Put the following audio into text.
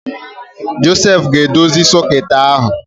Josef ga-edozi soket ahụ